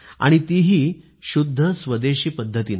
आणि तीही शुद्ध स्वदेशी पद्धत